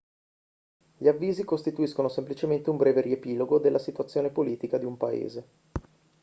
gli avvisi costituiscono semplicemente un breve riepilogo della situazione politica di un paese